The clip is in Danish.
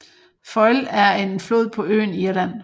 Foyle er en flod på øen Irland